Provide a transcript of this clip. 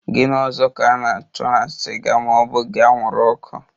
Gini ọzọ ka a na-achọ na siga ma ọ bughi anwuru ọkụ?